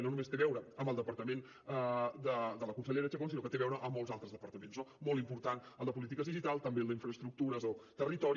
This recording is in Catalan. i no només té a veure amb el departament de la consellera chacón sinó que té a veure amb molts altres departaments no molt important el de polítiques digitals també el d’infraestructures o territori